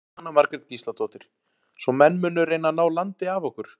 Jóhanna Margrét Gísladóttir: Svo menn munu reyna að ná landi af okkur?